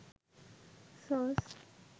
sauce